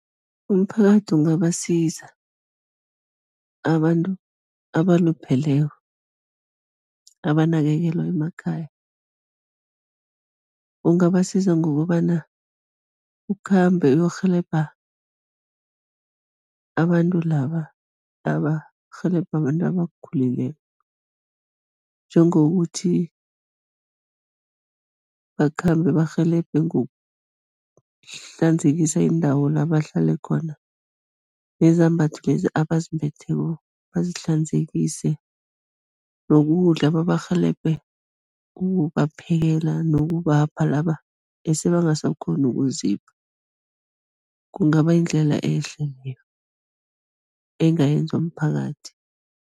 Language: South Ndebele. Umphakathi ungabasiza abantu abalupheleko, abanakekelwa emakhaya. Ungabasiza ngokobana, ukhambe uyokurhelebha abantu laba abarhelebha abantu abakhulileko, njengokuthi bakhambe barhelebhe ngokuhlanzekisa indawo la bahlale khona nezambatho lezi abazimbetheko bazihlanzekise, nokudla, babarhelebhe ukubaphekela nokubapha laba ese bangasakghoni ukuzipha, kungaba yindlela ehle leyo, engayenzwa mphakathi.